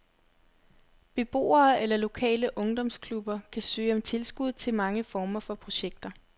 Beboere eller lokale ungdomsklubber kan søge om tilskud til mange former for projekter.